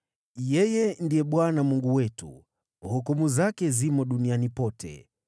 Yeye ndiye Bwana Mungu wetu; hukumu zake zimo duniani pote.